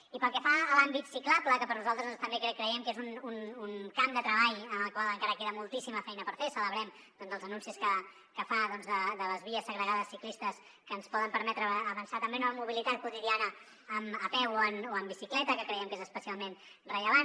i pel que fa a l’àmbit ciclable que nosaltres també creiem que és un camp de treball en el qual encara queda moltíssima feina per fer celebrem doncs els anuncis que fa de les vies segregades ciclistes que ens poden permetre avançar també en la mobilitat quotidiana a peu o amb bicicleta que creiem que és especialment rellevant